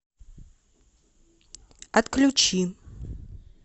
отключи